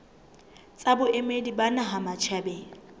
tsa boemedi ba naha matjhabeng